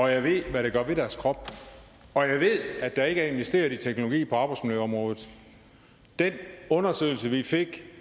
jeg ved hvad det gør ved deres krop og jeg ved at der ikke er investeret i teknologi på arbejdsmiljøområdet den undersøgelse vi fik